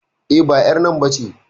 E, ba ƴar nan ba ce.